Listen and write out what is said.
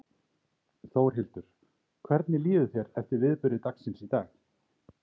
Þórhildur: Hvernig líður þér eftir viðburði dagsins í dag?